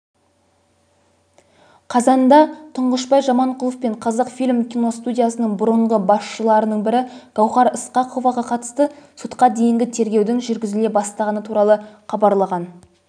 қазанда тұңғышбай жаманқұлов пен қазақфильм киностудиясының бұрыңғы басшыларының бірі гауһар ысқақоваға қатысты сотқа дейінгі тергеудің жүргізіле бастағаны туралы хабарлаған